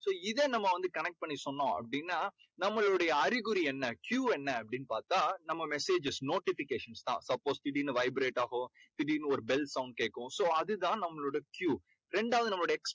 so இதை நம்ம வந்து கணக்கு பண்ணி சொன்னோம் அப்படீன்னா நம்மளுடைய அறிகுறி என்ன? Q என்ன? அப்படீன்னு பார்த்தா நம்ம messages notifications தான். suppose திடீர்னு vibrate ஆகும். திடீர்னு ஒரு bell sound கேக்கும். so அது தான் நம்மளோட Q ரெண்டாவது நம்மளுடைய